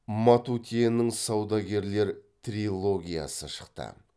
матутенің саудагерлер трилогиясы шықты